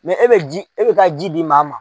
e bɛ ka ji di maa ma.